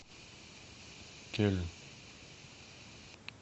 кельн